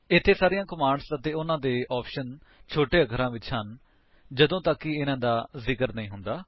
ਇੱਥੇ ਸਾਰੀਆਂ ਕਮਾਂਡਸ ਅਤੇ ਉਨ੍ਹਾਂ ਦੇ ਆਪਸ਼ਨਸ ਛੋਟੇ ਅਖਰਾਂ ਵਿੱਚ ਹਨ ਜਦੋਂ ਤੱਕ ਕਿ ਇਹਨਾ ਦਾ ਜ਼ਿਕਰ ਨਹੀਂ ਹੁੰਦਾ